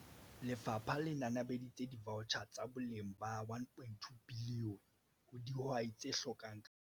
Lefapha le nanabeditse divaotjhara tsa boleng ba R1.2 bilione ho dihwai tse hlokang ka sebele.